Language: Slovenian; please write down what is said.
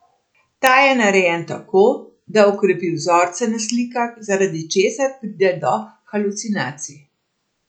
Ta je narejen tako, da okrepi vzorce na slikah, zaradi česar pride do halucinacij.